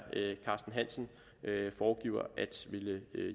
carsten hansen foregiver at ville